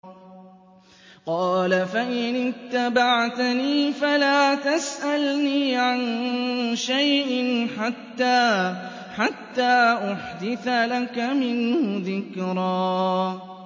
قَالَ فَإِنِ اتَّبَعْتَنِي فَلَا تَسْأَلْنِي عَن شَيْءٍ حَتَّىٰ أُحْدِثَ لَكَ مِنْهُ ذِكْرًا